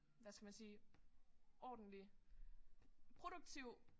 Hvad skal man sige ordentlig produktiv